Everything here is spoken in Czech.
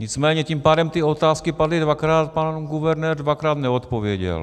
Nicméně tím pádem ty otázky padly dvakrát, pan guvernér dvakrát neodpověděl.